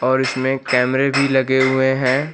और इसमें कैमरे भी लगे हुए हैं।